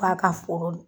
Ba ka foro